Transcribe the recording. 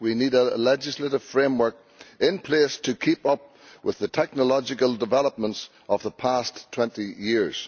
We need a legislative framework in place to keep up with the technological developments of the past 20 years.